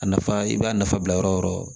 A nafa i b'a nafa bila yɔrɔ o yɔrɔ